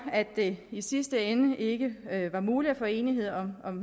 at det i sidste ende ikke var muligt at få enighed om